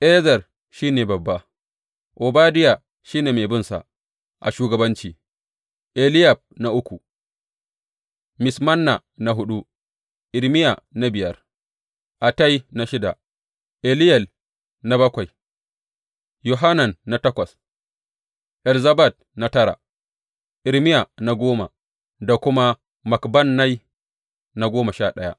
Ezer shi ne babba, Obadiya shi ne mai binsa a shugabanci, Eliyab na uku, Mismanna na huɗu, Irmiya na biyar, Attai na shida, Eliyel na bakwai, Yohanan na takwas, Elzabad na tara, Irmiya na goma da kuma Makbannai na goma sha ɗaya.